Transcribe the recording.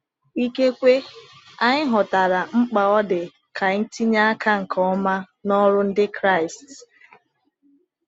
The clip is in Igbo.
Ikekwe anyị ghọtara mkpa ọ dị ka anyị tinye aka nke ọma n’ọrụ Ndị Kraịst.